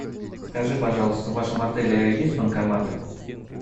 скажи пожалуйста в вашем отеле есть банкоматы